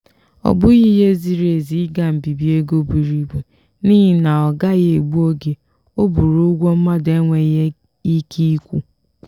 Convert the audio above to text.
ọ bụghị ihe ziri ezi ị ga mbibi ego buru ibu n'ihi na ọ gaghị egbu oge ọ bụrụ ụgwọ mmadụ enweghị ike ịkwụ.